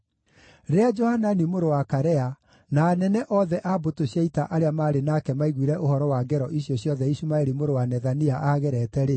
Rĩrĩa Johanani mũrũ wa Karea, na anene othe a mbũtũ cia ita arĩa maarĩ nake maiguire ũhoro wa ngero icio ciothe Ishumaeli mũrũ wa Nethania aagerete-rĩ,